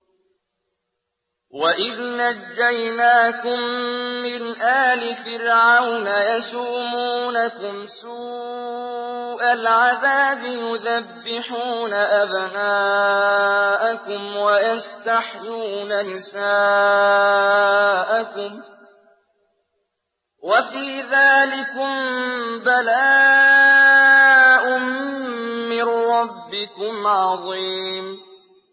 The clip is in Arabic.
وَإِذْ نَجَّيْنَاكُم مِّنْ آلِ فِرْعَوْنَ يَسُومُونَكُمْ سُوءَ الْعَذَابِ يُذَبِّحُونَ أَبْنَاءَكُمْ وَيَسْتَحْيُونَ نِسَاءَكُمْ ۚ وَفِي ذَٰلِكُم بَلَاءٌ مِّن رَّبِّكُمْ عَظِيمٌ